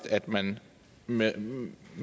at man med